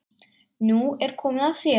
Nú er komið að þér.